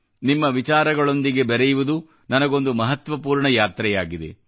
ನಿಮ್ಮ ವಿಚಾರಗಳೊಂದಿಗೆ ಬೆರೆಯುವುದು ನನಗೊಂದು ಮಹತ್ವಪೂರ್ಣ ಯಾತ್ರೆಯಾಗಿದೆ